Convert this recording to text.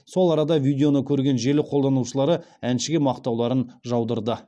сол арада видеоны көрген желі қолданушылары әншіге мақтауларын жаудырды